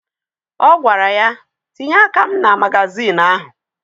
Ọ gwara ya, tinye aka m na magazịịnụ ahụ!